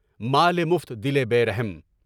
مال مفت، دل بے رحم۔